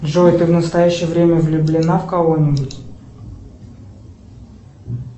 джой ты в настоящее время влюблена в кого нибудь